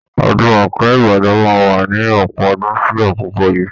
Ọdún Òkè-Ìbàdàn máa wà ni ọ̀pọ̀ ọdún sí àkokò yíì.